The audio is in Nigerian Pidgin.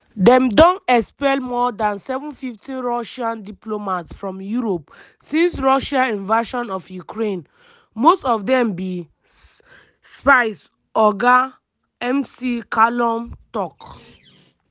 dem don expel more dan 750 russian diplomats from europe since russia invasion of ukraine "most of dem be" spies oga mccallum tok.